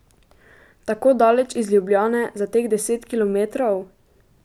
Tako daleč iz Ljubljane za teh deset kilometrov?